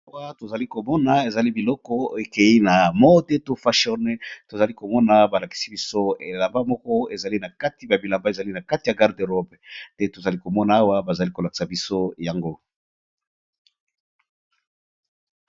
Awa tozali komona ezali bongo bilamba ébélé ezali bongo na garde robe